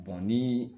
ni